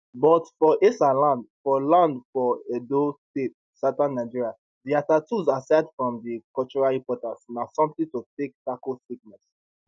but for esan land for land for edo state southern nigeria dia tattoos asides from di cultural importance na something to take tackle sickness